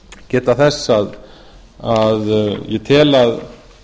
geta þess að ég tel að